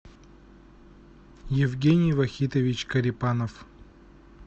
евгений вахитович корепанов